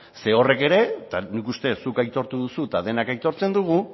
zeren horrek ere eta nik uste zuk aitortu duzu eta denok aitortzen dugu